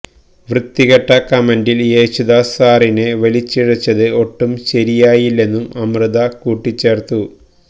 വൃത്തികെട്ട കമന്റില് യേശുദാസ് സാറിനെ വലിച്ചിഴച്ചത് ഒട്ടും ശരിയായില്ലെന്നും അമൃത കൂട്ടിച്ചേര്ത്തു